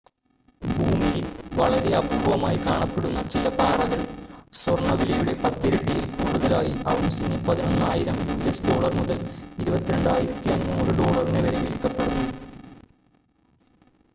ഭൂമിയിൽ വളരെ അപൂർവ്വമായി കാണപ്പെടുന്ന ചില പാറകൾ സ്വർണ്ണ വിലയുടെ പത്തിരട്ടിയിൽ കൂടുതലായി ഔൺസിന് 11,000 യുഎസ് ഡോളർ മുതൽ 22,500 ഡോളറിന് വരെ വിൽക്കപ്പെടുന്നു